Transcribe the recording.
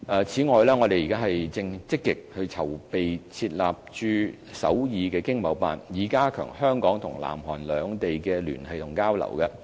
此外，我們正積極籌備設立駐首爾經貿辦，以加強香港和南韓兩地的聯繫和交流。